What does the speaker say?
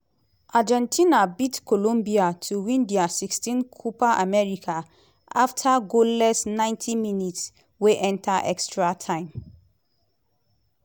argentina beat colombia to win dia 16th copa america afta goalless 90 minutes wey enta extra time.